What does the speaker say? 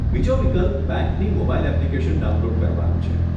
બીજો વિકલ્પ બેંકની મોબાઈલ એપ્લીકેશન ડાઉનલોડ કરવાનો છે.